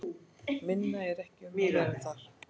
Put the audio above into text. Meira er ekki um að vera þar.